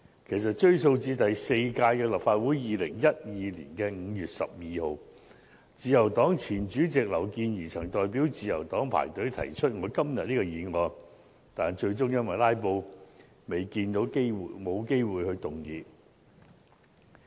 其實，追溯至第四屆立法會的2012年5月12日，自由黨前主席劉健儀曾代表自由黨排隊提出我今天這項議案，但最終因為"拉布"而沒有機會動議。